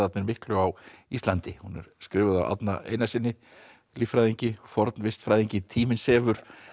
miklu á Íslandi hún er skrifuð af Árna Einarssyni líffræðingi og fornvistfræðingi tíminn sefur